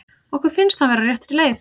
Okkur finnst hann vera á réttri leið.